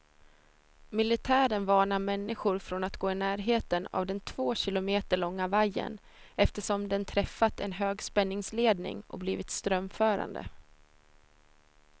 Militären varnar människor från att gå i närheten av den två kilometer långa vajern, eftersom den träffat en högspänningsledning och blivit strömförande.